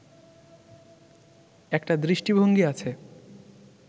একটা দৃষ্টিভঙ্গী আছে